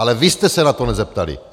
Ale vy jste se na to nezeptali.